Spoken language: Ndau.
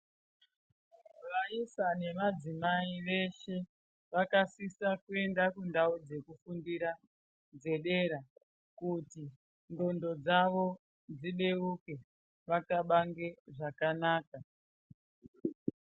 Vaisa nevadzimai veshe, vakasisa kuenda kundau dzekufundira dzedera kuti n'gondo dzawo dzibeuke wakabange zvakanaka.